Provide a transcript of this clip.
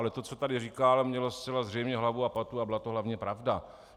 Ale to, co tady říkal, mělo zcela zřejmě hlavu a patu a byla to hlavně pravda.